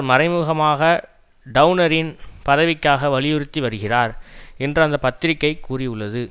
மறைமுகமாக டெளனரின் பதவிக்காக வலியுறுத்தி வருகிறார் என்று அந்த பத்திரிகை கூறியுள்ளது